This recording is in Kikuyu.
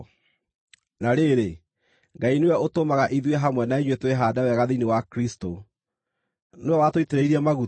Na rĩrĩ, Ngai nĩwe ũtũmaga ithuĩ hamwe na inyuĩ twĩhaande wega thĩinĩ wa Kristũ. Nĩwe watũitĩrĩirie maguta,